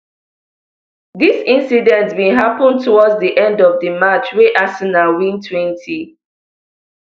dis incident bin happun towards di end of di match wey arsenal win twenty